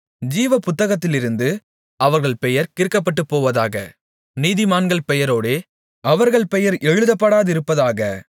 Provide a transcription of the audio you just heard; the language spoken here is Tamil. ஜீவபுத்தகத்திலிருந்து அவர்கள் பெயர் கிறுக்கப்பட்டுப்போவதாக நீதிமான்கள் பெயரோடே அவர்கள் பெயர் எழுதப்படாதிருப்பதாக